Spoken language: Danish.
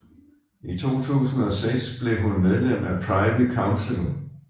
I 2006 blev hun medlem af Privy Council